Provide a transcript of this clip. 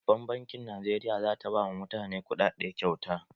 Babbar bankin Najeriya za ta ba ma mutane kuɗaɗe kyauta